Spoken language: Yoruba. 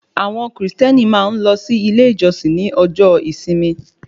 Àwọn kìrìsìtẹ́nì máa ń lọ sí ilé ìjọsìn ní ọjọ́ ìsinmi